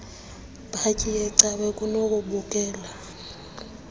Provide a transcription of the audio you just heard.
bhatyi yecawa kunokubukela